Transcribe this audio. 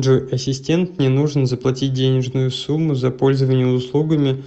джой ассистент мне нужно заплатить денежную сумму за пользование услугами